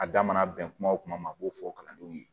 A damana bɛn kuma o kuma ma n b'o fɔ kalandenw ye